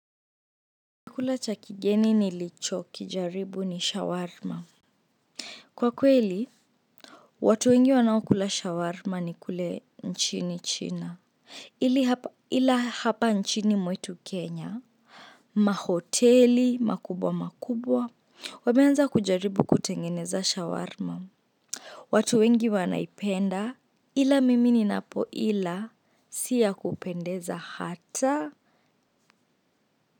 Chakula cha kigeni nilicho kijaribu ni shawarma. Kwa kweli, watu wengi wanaokula shawarma ni kule nchini china. Ila hapa nchini mwetu Kenya. Mahoteli, makubwa makubwa, wameanza kujaribu kutengeneza shawarma. Watu wengi wanaipenda ila mimi ninapo ila siyakupendeza hata.